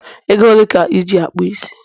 Ego ole ka Iji akpu isi?